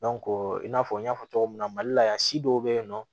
i n'a fɔ n y'a fɔ cogo min na mali la yan si dɔw be yen nɔ